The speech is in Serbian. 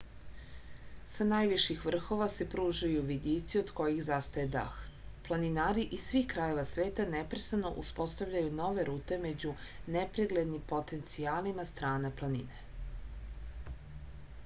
sa najviših vrhova se pružaju vidici od kojih zastaje dah planinari iz svih krajeva sveta neprestano uspostavljaju nove rute među nepreglednim potencijalima strana planine